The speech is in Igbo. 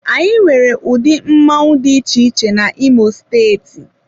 Anyị nwere ụdị mmoṅụ dị iche iche na imo steeti.